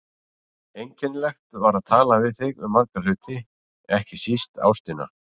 Einkennilegt var að tala við þig um marga hluti, ekki síst ástina.